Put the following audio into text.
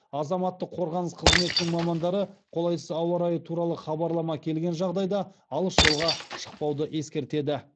азаматтық қорғаныс қызметінің мамандары қолайсыз ауа райы туралы хабарлама келген жағдайда алыс жолға шықпауды ескертеді